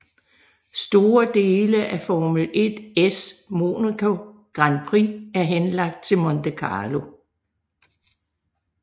Store dele af Formel 1s Monaco Grand Prix er henlagt til Monte Carlo